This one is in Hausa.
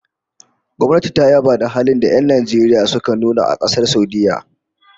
Gwamnati ta yaba halin da'a da 'yan Najeriya suka nuna a Kasar Saudiyya